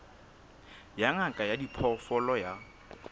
ya ngaka ya diphoofolo ya